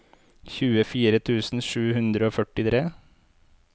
tjuefire tusen sju hundre og førtitre